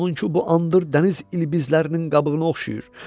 Onun ki, bu andır dəniz ilbizlərinin qabığına oxşayır.